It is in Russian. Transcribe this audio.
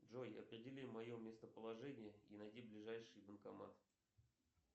джой определи мое местоположение и найди ближайший банкомат